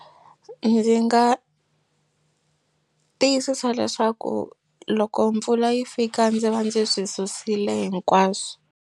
Ndzi nga tiyisisa leswaku loko mpfula yi fika ndzi va ndzi swi susile hinkwaswo.